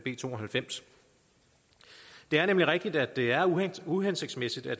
b to og halvfems det er nemlig rigtigt at det er uhensigtsmæssigt at